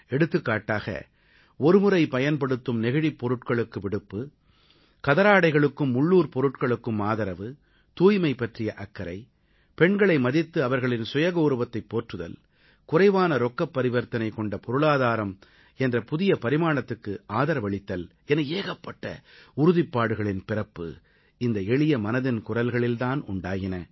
எடுத்துக்காட்டாக ஒருமுறை பயன்படுத்தும் நெகிழிப் பொருட்களுக்கு விடுப்பு கதராடைகளுக்கும் உள்ளூர் பொருட்களுக்கும் ஆதரவு தூய்மை பற்றிய அக்கறை பெண்களை மதித்து அவர்களின் சுயகௌரவத்தைப் போற்றுதல் குறைவான ரொக்கப் பரிவர்த்தனை கொண்ட பொருளாதாரம் என்ற புதிய பரிமாணத்துக்கு ஆதரவளித்தல் என ஏகப்பட்ட உறுதிப்பாடுகளின் பிறப்பு இந்த எளிய மனதின் குரல்களில் தான் உண்டாயின